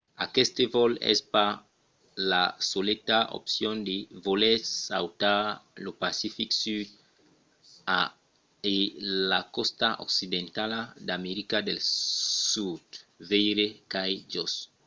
aqueste vòl es pas la soleta opcion se volètz sautar lo pacific sud e la còsta occidentala d’america del sud. veire çai-jos